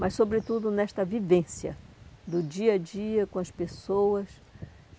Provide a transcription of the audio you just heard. Mas, sobretudo, nesta vivência do dia a dia com as pessoas.